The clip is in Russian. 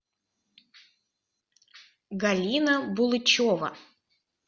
галина булычева